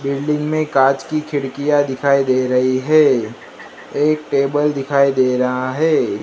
Building में कांच की खिड़कियां दिखाई दे रही है एक टेबल दिखाई दे रहा है।